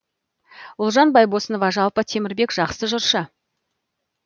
ұлжан байбосынова жалпы темірбек жақсы жыршы